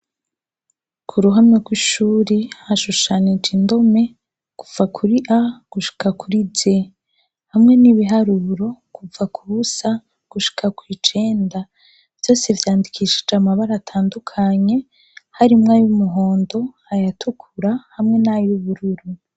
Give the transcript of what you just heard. Kuruhamwe rw'ishuri hashushanije indome gupfa kuri a gushika kuri je hamwe n'ibiharuburo kuva ku busa gushika kwijenda vyose vyandikishije amabara atandukanye harimwo ayo'umuhondo ayatukura hamwe n'ayubururu.